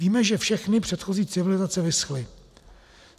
Víme, že všechny předchozí civilizace vyschly.